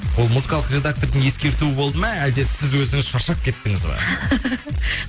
ол музыкалық редактордың ескертуі болды ма әлде сіз өзіңіз шаршап кеттіңіз ба